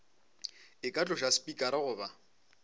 e ka tloša spikara goba